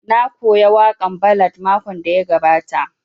Na koya waƙan ballad makon da ya gabata